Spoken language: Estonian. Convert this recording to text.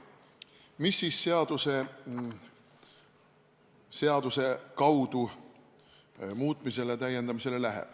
Mis siis täiendamisele läheb?